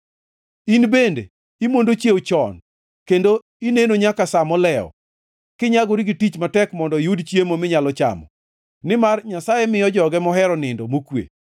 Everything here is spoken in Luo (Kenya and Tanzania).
In bende imondo chiewo chon kendo ineno nyaka sa molewo, kinyagori gi tich matek mondo iyud chiemo minyalo chamo; nimar Nyasaye miyo joge mohero nindo mokwe.